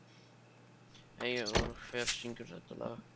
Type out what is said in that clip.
Eivör, hver syngur þetta lag?